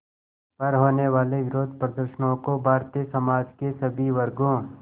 पर होने वाले विरोधप्रदर्शनों को भारतीय समाज के सभी वर्गों